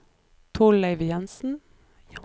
Torleiv Jansen